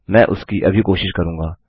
मैं उसकी अभी कोशिश करूँगा